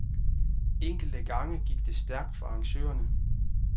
Enkelte gange gik det stærkt for arrangørerne.